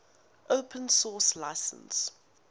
open source license